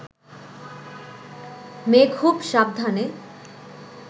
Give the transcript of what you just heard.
মেয়ে খুব সাবধানে